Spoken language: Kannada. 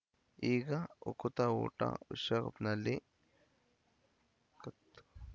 ಈಗ ಉಕುತ ಊಟ ವಿಶ್ವಕಪ್‌ನಲ್ಲಿ ಕಪ್‌